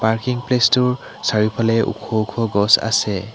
Parking place টোৰ চাৰিওফালে ওখ ওখ গছ আছে।